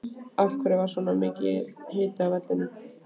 Af hverju var svona mikill hiti á vellinum?